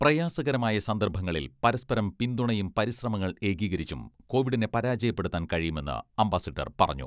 പ്രയാസകരമായ സന്ദർഭങ്ങളിൽ പരസ്പരം പിന്തുണയും പരിശ്രമങ്ങൾ ഏകീകരിച്ചും കോവിഡിനെ പരാജയപ്പെടുത്താൻ കഴിയുമെന്ന് അംബാസിഡർ പറഞ്ഞു.